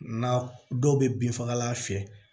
Na dɔw bɛ bin fagalan fiyɛ